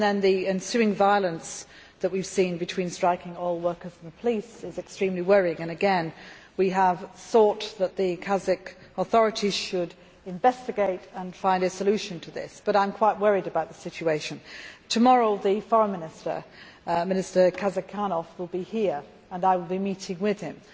The ensuing violence that we have seen between striking oil workers and the police is extremely worrying and again we have sought that the Kazakh authorities should investigate and find a solution to this. I am quite worried about the situation. Tomorrow the Foreign Minister, Minister Kazykhanov, will be here and I will be meeting with him.